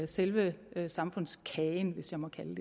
selve samfundskagen hvis jeg må kalde